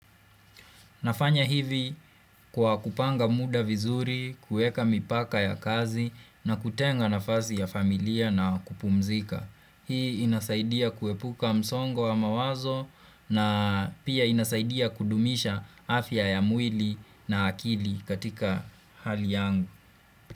Nafanya hivi kwa kupanga muda vizuri, kueka mipaka ya kazi na kutenga nafasi ya familia na kupumzika. Hii inasaidia kuepuka msongo wa mawazo na pia inasaidia kudumisha afya ya mwili na akili katika hali yangu.